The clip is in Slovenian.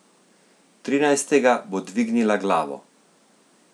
Trinajstega bo dvignila glavo.